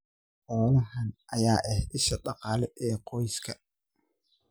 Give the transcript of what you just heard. Xoolahan ayaa ah isha dhaqaale ee qoyska.